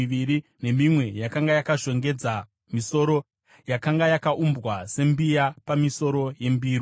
Matamba mazana mana emimbure miviri nemimwe yakanga yakashongedza misoro yakanga yakaumbwa sembiya pamisoro yembiru;